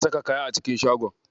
Zan saka kaya a cikin shagon.